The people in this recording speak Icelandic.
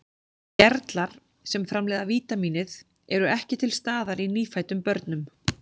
Gerlar sem framleiða vítamínið eru ekki til staðar í nýfæddum börnum.